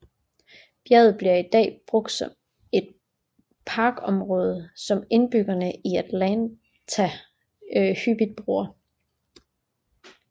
Bjerget bliver i dag brugt som et parkområde som indbyggerne af Atlanta hyppigt bruger